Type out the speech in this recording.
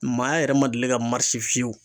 Maa yɛrɛ ma deli ka marise fiyewu